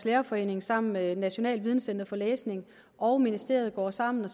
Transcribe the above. lærerforening sammen med nationalt videncenter for læsning og ministeriet går sammen